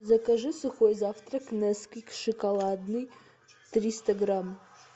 закажи сухой завтрак несквик шоколадный триста грамм